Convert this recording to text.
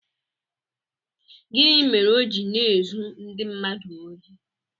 Gịnị mere o ji na-ezu ndị mmadụ ohi?